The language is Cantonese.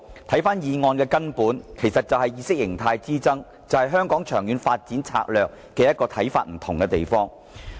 其實，議案涉及的根本是意識形態之爭，是對香港長遠發展策略不同的看法。